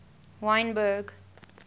wynberg